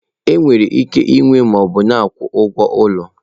Enwere ike ịnwe ma ọ bụ na akwụ ụgwọ ụlọ.